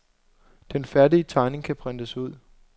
Den færdige tegning kan printes ud.